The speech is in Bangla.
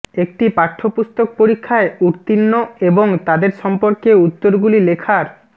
একটি পাঠ্যপুস্তক পরীক্ষায় উত্তীর্ণ এবং তাদের সম্পর্কে উত্তরগুলি লেখার